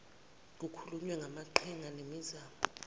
kukhulunywe ngamaqhinga nemizamo